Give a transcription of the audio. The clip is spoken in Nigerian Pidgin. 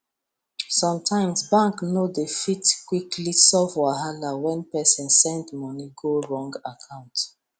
sometimes bank no dey fit quickly solve wahala when person send money go wrong account